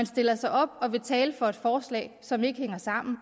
stiller sig op og vil tale for et forslag som ikke hænger sammen